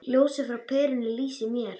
Ljósið frá perunni lýsir mér.